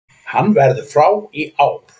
Hann verður frá í ár.